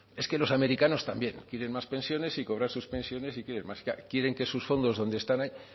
es que los americanos también quieren más pensiones y cobrar sus pensiones y quieren más claro quieren que sus fondos donde están ahí